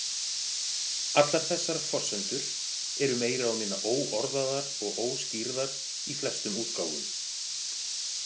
Allar þessar forsendur eru meira og minna óorðaðar og óskýrðar í flestum útgáfum.